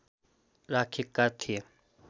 राखेका थिए